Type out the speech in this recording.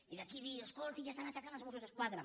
i d’aquí dir escolti ja estan atacant els mossos d’esquadra